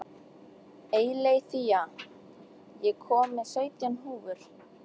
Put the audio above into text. Eileiþía, ég kom með sautján húfur!